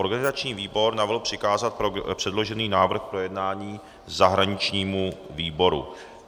Organizační výbor navrhl přikázat předložený návrh k projednání zahraničnímu výboru.